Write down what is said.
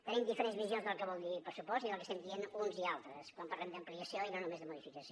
tenim diferents visions del que vol dir pressupost i del que estem dient uns i altres quan parlem d’ampliació i no només de modificació